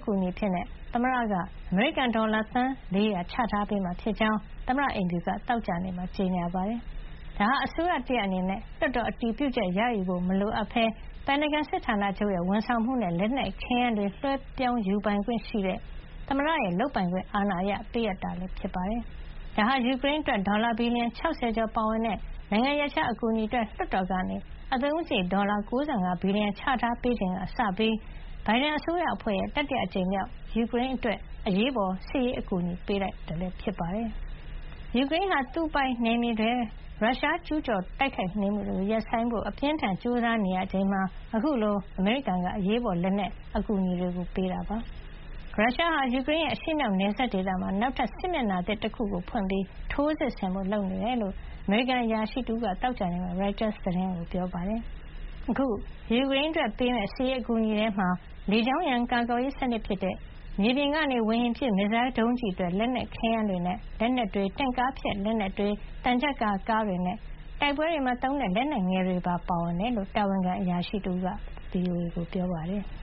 ကူအညီအဖြစ် သမ္မတ ဂျိုးဘိုင်ဒန်က အမေရိကန်ဒေါ်လာ သန်း ၄၀၀ ချထားပေးမှာ ဖြစ်ကြောင်း သမ္မတအိမ်ဖြူက သောကြာနေ့မှာ ကြေညာပါတယ်။ ဒါဟာ အစိုးရတရပ်အနေနဲ့ လွှတ်တော်အတည်ပြုချက် ရယူဖို့ မလိုအပ်ပဲ ပင်တာဂွန်စစ်ဌာနချုပ်ရဲ့ ဝန်ဆောင်မှုနဲ့ လက်နက်ခဲယမ်းတွေ လွှဲပြောင်းယူခွင့်ရှိတဲ့ သမ္မတရဲ့ လုပ်ပိုင်ခွင့်အာဏာအရ ပေးအပ်တာဖြစ်ပါတယ်။ ဒါဟာ ယူကရိန်းအတွက် ဒေါ်လာ ဘီလီယံ ၆၀ ကျော်ပါဝင်တဲ့ နိုင်ငံရပ်ခြားအကူအညီအတွက် လွှတ်တော်က အသုံးစားရိတ် ဒေါ်လာ ၉၅ ဘီလီယံ ချထားပေးချိန်ကစပြီး ဘိုင်ဒန်အစိုးရအဖွဲ့ရဲ့ တတိယအကြိမ်မြောက် ယူကရိန်းအတွက် အရေးပေါ် စစ်ရေးအကူအညီ ပေးတာလည်း ဖြစ်ပါတယ်။ ယူကရိန်းဟာ သူ့ ပိုင်နယ်မြေတွေထဲ ရုရှားကျူးကျော်တိုက်ခိုက်နေမှုတွေ ရပ်ဆိုင်းဖို့ အပြင်းအထန် ကြိုးစားနေရချိန်မှာ အခုလို အမေရိကန်က အရေးပေါ် လက်နက်အကူအညီတွေ ပေးတာဖြစ်ပါတယ်။ ရုရှားဟာ ယူကရိန်းရဲ့ အရှေ့မြောက် နယ်စပ်ဒေသမှာ နောက်ထပ် စစ်မျက်နှာသစ်တခု ဖွင့်ပြီး ထိုးစစ်ဆင်ဖို့ လုပ်နေတယ်လို့ အမေရိကန်အရာရှိတဦးက သောကြာနေ့မှာ ရိုက်တာသတင်းဌာနကို ပြောပါတယ်။ အခု ယူကရိန်းအတွက်ပေးမယ့် စစ်ရေးအကူအညီထဲမှာ လေကြောင်းရန်ကာကွယ်ရေး စနစ်ဖြစ်တဲ့ မြေပြင်ကနေ ဝေဟင်ပစ် မစ်ဇိုင်းဒုံးကျည်အတွက် ခဲယမ်းတွေနဲ့ လက်နက်တွေ၊ တင့်ကားဖျက် လက်နက်တွေ၊ သံချပ်ကာ ကားတွေနဲ့ တိုက်ပွဲတွေမှာသုံးတဲ့ လက်နက်ငယ်တွေ ပါဝင်တယ်လို့ တာဝန်ခံအရာရှိတဦးက ပြောပါတယ်။